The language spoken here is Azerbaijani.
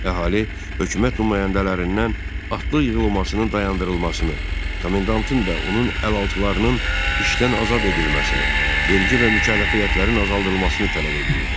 Əhali hökumət nümayəndələrindən atlı yığılmasının dayandırılmasını, komendantın və onun əlaltılarının işdən azad edilməsini, vergi və mükəlləfiyyətlərin azaldılmasını tələb edirdi.